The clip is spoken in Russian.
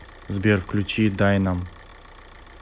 сбер включи дайнам